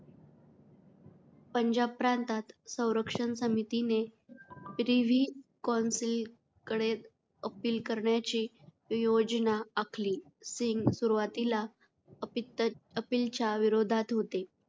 पंजाब प्रांतात संरक्षण समितीने प्रिव्ही कौन्सिल कडे अपील करण्याची योजना आखली. सिंग सुरुवातीला अपित अपीलच्या विरोधात होते.